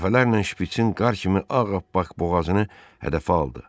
Dəfələrlə şpitsin qar kimi ağappaq boğazını hədəfə aldı.